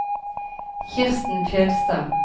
Kirsten Fjellstad